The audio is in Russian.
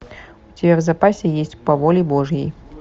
у тебя в запасе есть по воле божьей